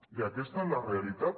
i aquesta és la realitat